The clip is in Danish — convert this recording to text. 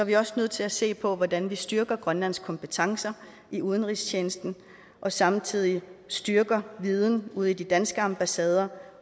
vi også nødt til at se på hvordan vi styrker grønlands kompetencer i udenrigstjenesten og samtidig styrker viden ude i de danske ambassader